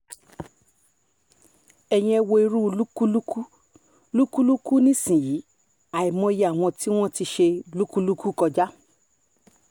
ẹ̀yin ẹ wo irú lúkúlùkù lúkúlùkù nísìnyìí àìmọye àwọn tí wọ́n ti ṣe lúkúlùkù kọjá